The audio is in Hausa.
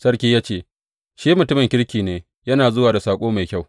Sarki ya ce, Shi mutumin kirki ne, yana zuwa da saƙo mai kyau.